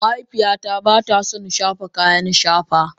mahaifiyata ba ta son shafa kayan shafa.